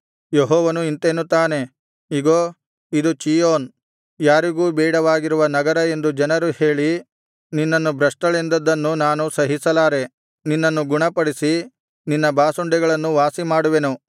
ಯೆಹೋವನು ಇಂತೆನ್ನುತ್ತಾನೆ ಇಗೋ ಇದು ಚೀಯೋನ್ ಯಾರಿಗೂ ಬೇಡವಾಗಿರುವ ನಗರ ಎಂದು ಜನರು ಹೇಳಿ ನಿನ್ನನ್ನು ಭ್ರಷ್ಟಳೆಂದದ್ದನ್ನು ನಾನು ಸಹಿಸಲಾರದೆ ನಿನ್ನನ್ನು ಗುಣಪಡಿಸಿ ನಿನ್ನ ಬಾಸುಂಡೆಗಳನ್ನು ವಾಸಿಮಾಡುವೆನು